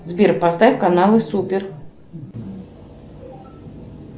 сбер поставь каналы супер